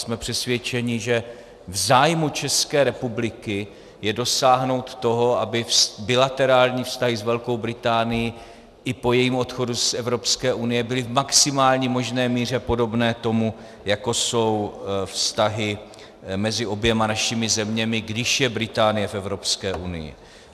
Jsme přesvědčeni, že v zájmu České republiky je dosáhnout toho, aby bilaterální vztahy s Velkou Británií i po jejím odchodu z Evropské unie byly v maximální možné míře podobné tomu, jako jsou vztahy mezi oběma našimi zeměmi, když je Británie v Evropské unii.